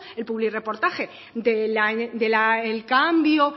el publirreportaje del cambio